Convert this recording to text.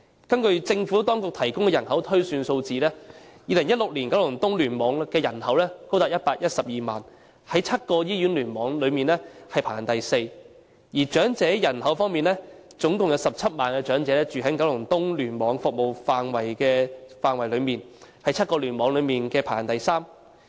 根據政府當局提供的人口推算數字 ，2016 年九龍東聯網的人口高達112萬，在7個醫院聯網中排行第四，而在長者人口方面，共有17萬名長者居於九龍東聯網的服務範圍內，在7個聯網中排行第三。